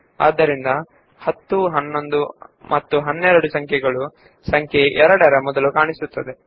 ಹಾಗಾಗಿ 2 ಎಂಬುದರ ಮುಂಚೆಯೇ 10 11 12 ಕಾಣಿಸಿಕೊಳ್ಳುತ್ತವೆ